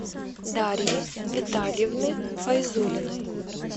дарьи витальевны файзулиной